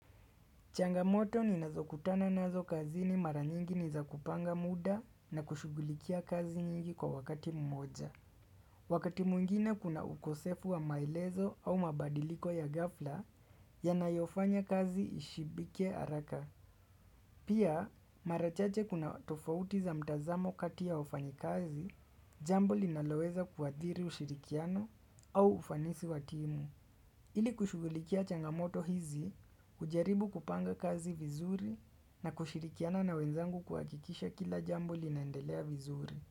Changamoto ni nazo kutana nazo kazini mara nyingi niza kupanga muda na kushughulikia kazi nyingi kwa wakati mmoja. Wakati mwngine kuna ukosefu wa maelezo au mabadiliko ya ghafla yanayofanya kazi ishibike haraka. Pia mara chache kuna tofauti za mtazamo kati ya wafanyi kazi, jambo linaloweza kuathiri ushirikiano au ufanisi wa timu. Ili kushughulikia changamoto hizi, kujaribu kupanga kazi vizuri na kushirikiana na wenzangu kuhakikisha kila jambo linaendelea vizuri.